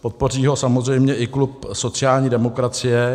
Podpoří ho samozřejmě i klub sociální demokracie.